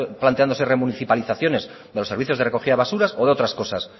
planteándose remunicipalizaciones de los servicios de recogida de basuras o de otras cosas